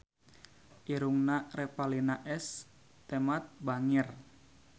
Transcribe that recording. Irungna Revalina S. Temat bangir